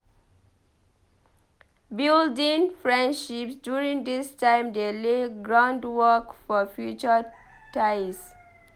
Building friendships during dis time dey lay groundwork for future ties.